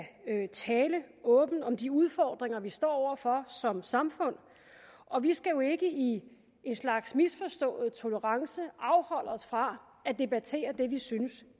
tale åbent om de udfordringer vi står over for som samfund og vi skal jo ikke i en slags misforstået tolerance afholde os fra at debattere det vi synes